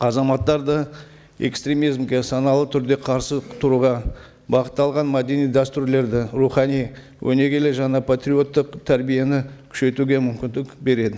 азаматтарды экстремизмге саналы түрде қарсы тұруға бағытталған мәдени дәстүрлерді рухани өнегелі және патриоттық тәрбиені күшейтуге мүмкіндік береді